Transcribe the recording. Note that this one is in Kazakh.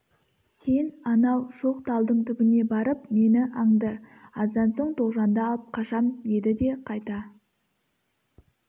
сен анау шоқ талдың түбіне барып мені аңды аздан соң тоғжанды алып қашам деді де қайта